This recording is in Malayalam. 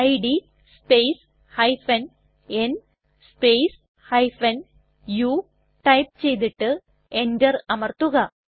id space n space u type ചെയ്തിട്ട് enter അമർത്തുക